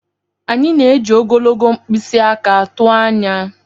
Anyị na-eji ogologo mkpịsị aka tụọ anya.